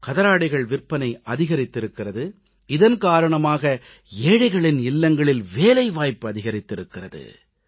கதராடைகள் விற்பனை அதிகரித்திருக்கிறது இதன் காரணமாக ஏழைகளின் இல்லங்களில் வேலைவாய்ப்பு அதிகரித்திருக்கிறது